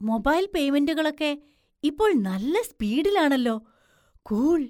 Mobile പേയ്മെന്‍റുകളൊക്കെ ഇപ്പോൾ നല്ല സ്പീഡിലാണല്ലോ! കൂള്‍!